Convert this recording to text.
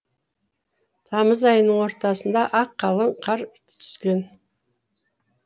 тамыз айының ортасында ақ қалың қар түскен